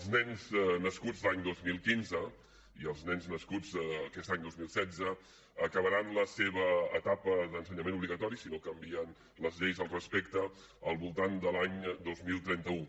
els nens nascuts l’any dos mil quinze i els nens nascuts aquest any dos mil setze acabaran la seva etapa d’ensenyament obligatori si no canvien les lleis al respecte al voltant de l’any dos mil trenta u